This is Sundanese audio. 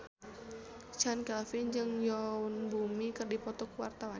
Chand Kelvin jeung Yoon Bomi keur dipoto ku wartawan